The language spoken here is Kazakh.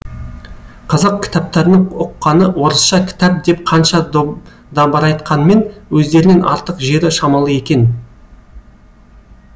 қазақ кітаптарының ұққаны орысша кітап деп қанша дабырайтқанмен өздерінен артық жері шамалы екен